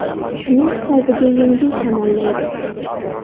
Shuning hisobiga yengil shamollaydi.